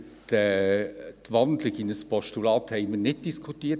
Über die Wandlung in ein Postulat haben wir nicht diskutiert.